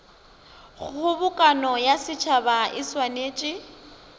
kgobokano ya setšhaba e swanetše